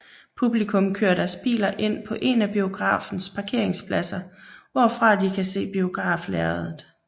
Publikum kører deres biler ind på en af biografens parkeringspladser hvorfra de kan se biograflærredet